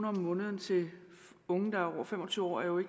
om måneden til unge der er over fem og tyve år er jo